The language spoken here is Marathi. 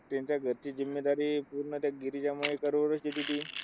त्यांचा घरची पूर्ण त्या गिरीजा मयेकरवरच येत होती.